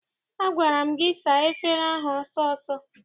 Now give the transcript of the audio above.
Agwara m gị saa efere ahụ ọsọ ọsọ!